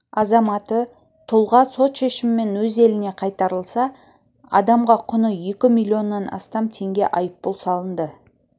азаматы тұлға сот шешімімен өз еліне қайтарылса адамға құны екі миллионнан астам теңге айыппұл салынды